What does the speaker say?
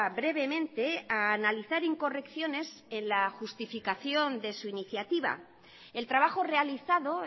brevemente a analizar incorrecciones en la justificación de su iniciativa el trabajo realizado